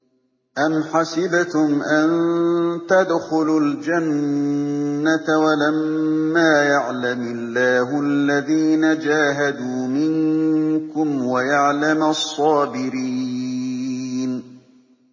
أَمْ حَسِبْتُمْ أَن تَدْخُلُوا الْجَنَّةَ وَلَمَّا يَعْلَمِ اللَّهُ الَّذِينَ جَاهَدُوا مِنكُمْ وَيَعْلَمَ الصَّابِرِينَ